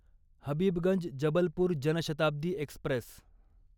Habibganj Jabalpur Janshatabdi Express